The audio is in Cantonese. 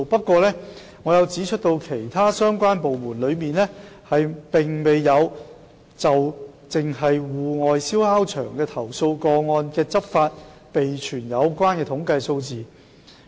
同時，我亦指出其他相關部門並沒有就涉及戶外燒烤場投訴個案的執法備存統計數字。